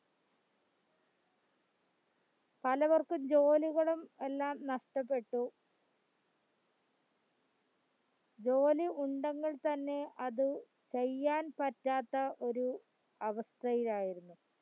പലവർക്കും ജോലികളും എല്ലാം നഷ്ടപ്പെട്ടു ജോലി ഉണ്ടെങ്കിൽ തന്നെ അത് ചെയ്യാൻ പറ്റാത്ത ഒരു അവസ്ഥയിലായിരുന്നു